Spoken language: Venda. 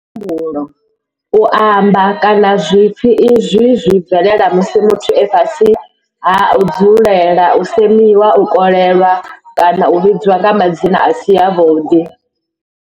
U tambudzwa lwa muhumbulo, u amba, kana zwipfi izwi zwi bvelela musi muthu e fhasi ha u dzulela u semiwa, u kolelwa kana u vhidzwa nga madzina a si avhuḓi.